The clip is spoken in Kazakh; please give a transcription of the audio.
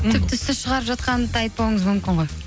тіпті сіз шығарып жатқанын да айтпауыңыз мүмкін ғой